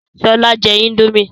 Sọlá jẹ índòmí